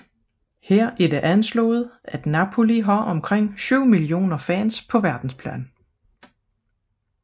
Her er det anslået at Napoli har omkring 7 millioner fans på verdensplan